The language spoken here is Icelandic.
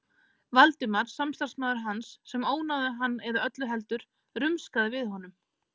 Valdimar, samstarfsmaður hans, sem ónáðaði hann eða öllu heldur: rumskaði við honum.